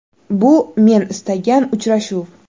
Bu men istagan uchrashuv.